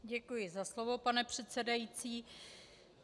Děkuji za slovo, pane předsedající.